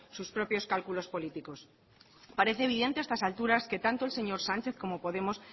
sus propios cálculos políticos parece evidente a estas alturas que tanto el señor sánchez como podemos